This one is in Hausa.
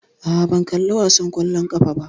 Aa, ban kalla wasan ƙwallon ƙafa ba